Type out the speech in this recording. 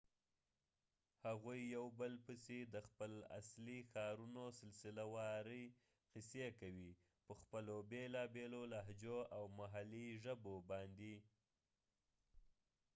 هغوي یو بل پسی د خپل اصلی ښارونو سلسله واری قصی کوي په خپلو بیلا بیلو لهجو او محلي ژبو باندي